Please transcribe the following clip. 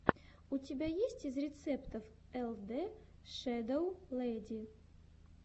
что у тебя есть из рецептов эл дэ шэдоу лэди